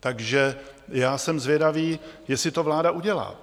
Takže já jsem zvědavý, jestli to vláda udělá.